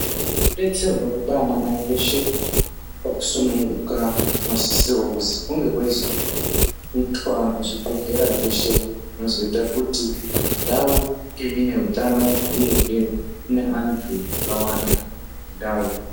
Detserwe kwaana mai veshe veisununguka nosisirwe kuzi kunge kweizi itwa muzvibhedhlera zveshe nozoita kuti ndau inge ineutanonuyehe iye ine antu akawanda ndau.